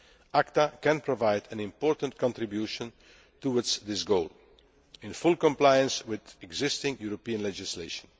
world. ACTA can provide an important contribution towards this goal, in full compliance with existing European legislation.